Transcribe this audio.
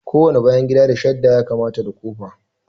Kowane bayan gida da shadda ya kamata da kofa